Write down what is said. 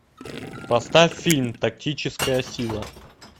поставь фильм тактическая сила